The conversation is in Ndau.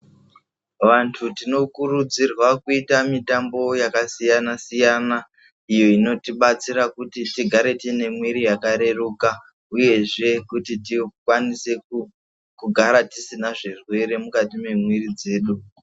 Vantu tino kurudzirwa kuita mitambo yaka siyana siyana iyo inoti batsira kuti tigare tiine mwiri yaka reruka uyezve kuti tikwanise kugara tisina zvirwere mukati me mwiri dzedu.